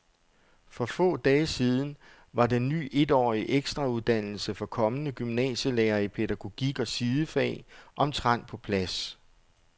For få dage siden var den ny etårige ekstrauddannelse for kommende gymnasielærere i pædagogik og sidefag omtrent på plads.